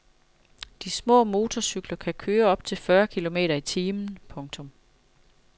De små motorcykler kan køre op til fyrre kilometer i timen. punktum